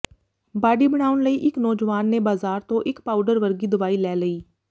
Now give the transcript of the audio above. body ਬਣਾਉਣ ਲਈ ਇੱਕ ਨੌਜਵਾਨ ਨੇ ਬਾਜ਼ਾਰ ਤੋਂ ਇੱਕ ਪਾਊਡਰ ਵਰਗੀ ਦਵਾਈ ਲੈ ਲਈ